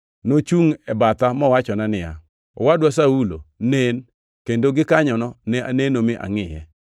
Nochungʼ e batha mowachona niya, ‘Owadwa Saulo, nen!’ Kendo gikanyono ne aneno mi angʼiye.